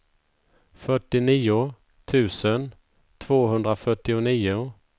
fyrtionio tusen tvåhundrafyrtionio